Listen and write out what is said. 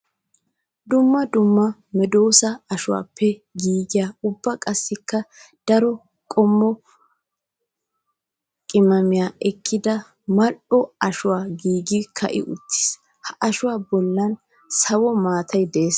Dumma dumma medosa ashuwappe giigiya ubba qassikka daro qommo qimaamiya ekkidda malj'o ashshoy giiggi ka'i uttiis. Ha ashuwa bollan sawo maatay de'ees.